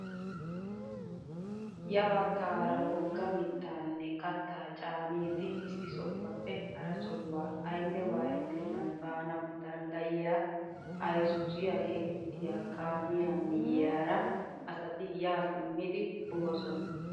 Ya baggaara wogga mittaanne kattaa caanidi issi sohuwaappe hara sohuwaa aynne waayettenan baanawu danddayiyaa ayzuuziyaa getettiyaa kaamiyaa miyiyaara asati yaa simmidi boosona!